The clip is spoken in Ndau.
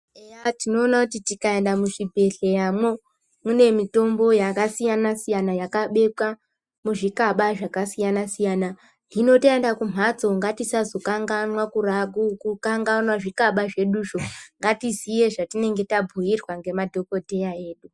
Eya tinoona kuti tikaenda muzvibhedhleramo mune mitombo yakasiyana siyana yakabekwa muzvikaba zvakasiyana siyana hino taenda kumhatso ngatisazokanganwa zvikaba zveduzvo ngatiziye zvatinenge tabhuyirwa ngemadhokodheya edu .